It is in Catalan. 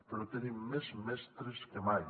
però tenim més mestres que mai